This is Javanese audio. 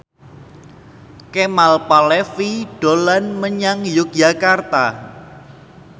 Kemal Palevi dolan menyang Yogyakarta